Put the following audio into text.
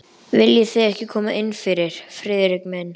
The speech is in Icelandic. Viljið þið ekki koma innfyrir, Friðrik minn?